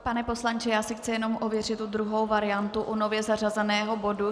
Pane poslanče, já si chci jenom ověřit tu druhou variantu u nově zařazeného bodu.